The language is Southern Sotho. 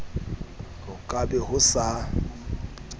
ho ka be ho sa